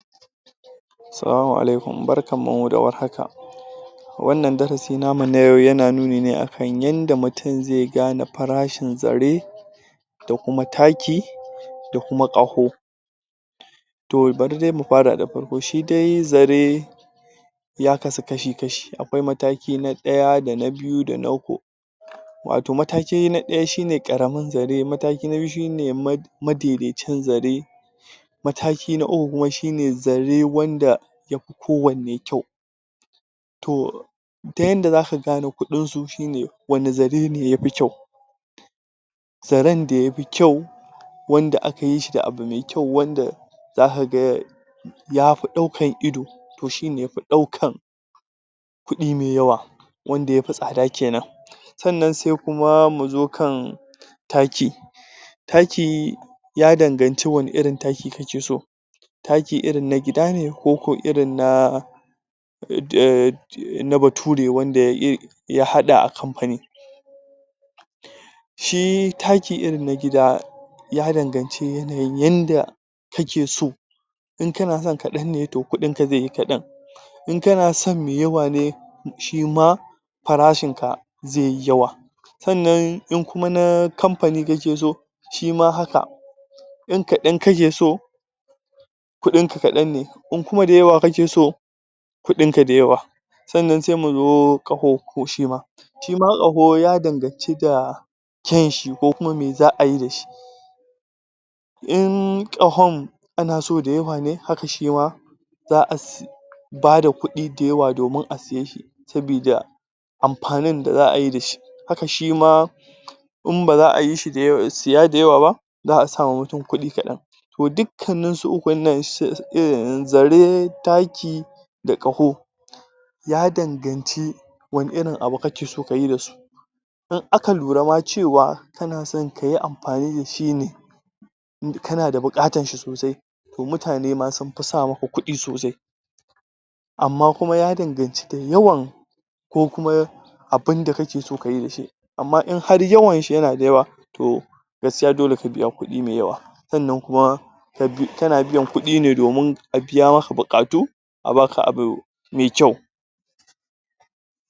Salamu alaikum. Barkanmu da war haka. Wanna darasi namu na yau yana nuni ne a kan yanda mutum zai fane farashin zare da kuma taki da kuma ƙaho To bari dai mu fara da farki; shi dai zare ya kasu kashi-kashi. Akwai mataki na ɗaya da na biyu da na um Wato mataki na ɗaya shi ne ƙaramin zare, mataki na biyu shi ne madaidaicin zare Mataki na uku kuma shi ne zare wanda ya fi kowanne kyau. To, ta yanda za ka gane kuɗinsu shi wane zare ne ya fi kyau. zaren da ya fi kyau wanda aka yi shi da abu mai kyau, wanda za ka ga ya fi ɗaukan ido. To shi ne yafi ɗaukan kuɗi mai yawa wanda ya fi tsada ke nan sannan sai kuma mu zo kan taki Taki ya danganci wane irin taki kake so Taki irin na gida ne koko irin na um na Bature wanda ya haɗa a kamfani Shi taki irin na gida ya danganci yanayin yanda kake so in kana so kaɗan ne to kuɗinka zai yi kaɗan In kana son mai yawa ne shi ma farashinka zai yi yawa Sannan in kuma na kamfani kake so shi ma haka In kaɗan kake so kuɗinka kaɗan ne in kuma da yawa kake so kuɗinka da yawa Sannan sai mu zo ƙaho ko shi ma Shi ma ƙaho ya danganci da kyan shi ko me za a yi da shi In ƙahon ana so da yawa ne, haka shi ma za a ba da kuɗi da yawa domin a saye shi saboda amfanin da za a yi da shi Haka shi ma in ba za a yi shi, saya da yawa ba za a sa wa mutum kuɗi kaɗan To dukkanninsu ukun nan: zare taki da ƙaho ya danganci wane irin abu kake so ka yi da su In aka lura ma cewa kana so ka yi amfani da shi ne in kana da buƙatar shi sosai to mutane ma sun sa muku kuɗi sosai. amma kuma ya danganci da yawan ko kuma abin da kake so ka yi da shi amma in har yawan shi yana da yawa gaskiya dole ka biya kuɗi mai yawa sannan kuma kana biyan kuɗi ne domin a biya maka buƙatu